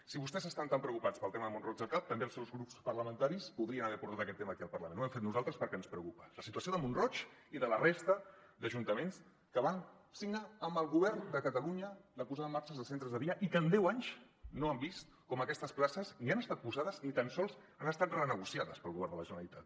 si vostès estan tan preocupats pel tema de mont roig del camp també els seus grups parlamentaris podrien haver portat aquest tema aquí al parlament ho hem fet nosaltres perquè ens preocupa la situació de mont roig i de la resta d’ajuntaments que van signar amb el govern de catalunya la posada en marxa dels centres de dia i que en deu anys han vist com aquestes places ni han estat posades ni tan sols han estat renegociades pel govern de la generalitat